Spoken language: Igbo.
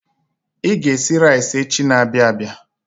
I ga-esi rais echi n'abia abịa.